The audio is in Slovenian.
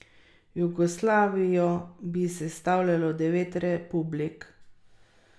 Jugoslavijo bi sestavljalo devet republik.